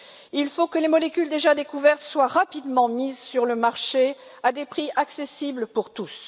Il faut que les molécules déjà découvertes soient rapidement mises sur le marché à des prix accessibles pour tous.